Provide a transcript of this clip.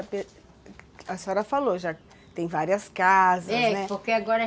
A senhora falou, já tem várias casas, né? É, porque agora